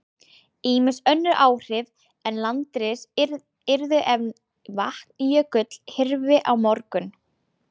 Ýmis önnur áhrif en landris yrðu ef Vatnajökull hyrfi á morgun.